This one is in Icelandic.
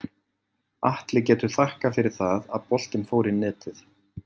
Atli getur þakkað fyrir það að boltinn fór í netið.